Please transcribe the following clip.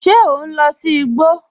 Ṣé ọ n lọ sí ìgbò?